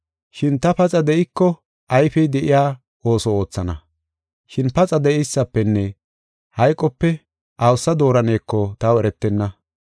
Shin ta paxa de7iko ayfey de7iya ooso oothana. Shin paxa de7eysafenne hayqope awusa dooraneko taw eretenna.